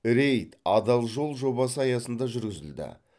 рейд адал жол жобасы аясында жүргізілді